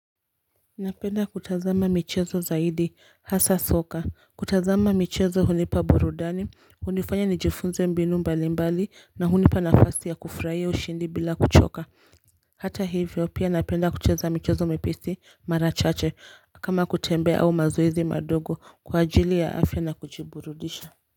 Napenda kutazama michezo zaidi hasa soka. Kutazama michezo hunipa burudani, hunifanya nijifunze mbinu mbali mbali na hunipa nafasi ya kufurahiya ushindi bila kuchoka. Hata hivyo pia napenda kucheza michezo miepesi marachache kama kutembea au mazoezi madogo kwa ajili ya afya na kujiburudisha.